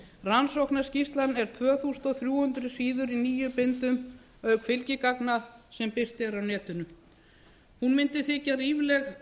rannsóknarskýrslan er tvö þúsund þrjú hundruð síður í níu bindum auk fylgigagna sem birt eru á netinu hún mundi þykja ríflegt